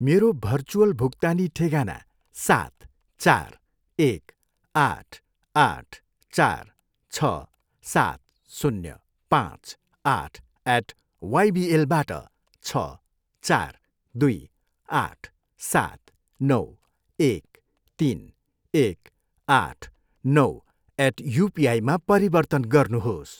मेरो भर्चुअल भुक्तानी ठेगाना सात, चार, एक, आठ, आठ, चार, छ, सात, शून्य, पाँच, आठ एट वाइबिएलबाट छ, चार, दुई, आठ, सात, नौ, एक, तिन, एक, आठ, नौ एट युपिआईमा परिवर्तन गर्नुहोस्